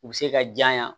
U bɛ se ka janya